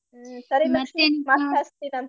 ಹ್ಮ್ ಸರಿ ಲಕ್ಷ್ಮೀ ಮತ್ ಹಚ್ತೇನಂತೆ.